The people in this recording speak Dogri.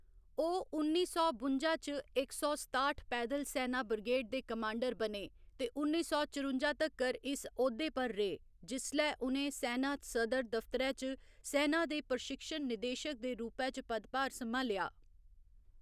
ओह्‌‌ उन्नी सौ बुंजा च इक सौ सताठ पैद्दल सैना ब्रिगेड दे कमांडर बने ते उन्नी सौ चरुंजा तक्कर इस औह्‌दे पर रेह् जिसलै उ'नें सैना सदर दफ्तरै च सैना दे प्रशिक्षण निदेशक दे रूपै च पदभार सम्हालेआ।